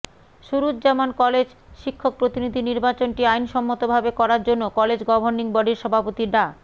Suruzzaman college শিক্ষক প্রতিনিধি নির্বাচনটি আইনসম্মতভাবে করার জন্য কলেজ গভর্নিং বডির সভাপতি ডা